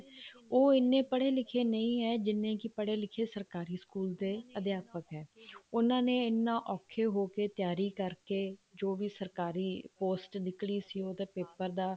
ਉਹ ਇੰਨੇ ਪੜੇ ਲਿਖੇ ਨਹੀਂ ਹੈ ਜਿੰਨੇ ਪੜੇ ਲਿਖੇ ਸਰਕਾਰੀ ਸਕੂਲ ਦੇ ਅਧਿਆਪਕ ਹੈ ਉਹਨਾ ਨੇ ਇੰਨਾ ਔਖਾ ਹੋ ਕੇ ਤਿਆਰੀ ਕਰਕੇ ਜੋ ਵੀ ਸਰਕਾਰੀ post ਨਿਕਲੀ ਸੀ ਉਹਦਾ paper ਦਾ